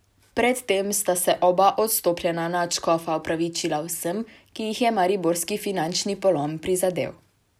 Pred tem sta se oba odstopljena nadškofa opravičila vsem, ki jih je mariborski finančni polom prizadel.